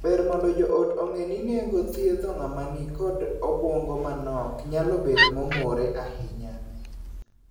Ber mondo joot ong'ee ni nengo thiedho ng'ama nikod obuongo manok nyalo bet momore ahinya.